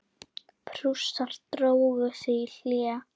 Prússar drógu sig í hlé.